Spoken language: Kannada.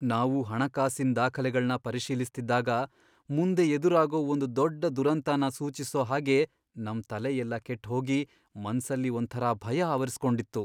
ನಾವು ಹಣಕಾಸಿನ್ ದಾಖಲೆಗಳ್ನ ಪರಿಶೀಲಿಸ್ತಿದ್ದಾಗ, ಮುಂದೆ ಎದುರಾಗೋ ಒಂದ್ ದೊಡ್ಡ್ ದುರಂತನ ಸೂಚ್ಸೋ ಹಾಗೆ ನಮ್ ತಲೆಯೆಲ್ಲ ಕೆಟ್ಹೋಗಿ, ಮನ್ಸಲ್ಲಿ ಒಂಥರ ಭಯ ಆವರಿಸ್ಕೊಂಡಿತ್ತು.